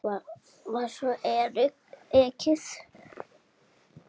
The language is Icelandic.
Svo var ekið.